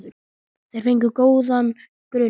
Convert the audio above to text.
Þeir fengu góðan grunn.